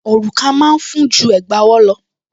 Òrùka máa ń fún ju Ẹ̀gbá ọwọ́ lọ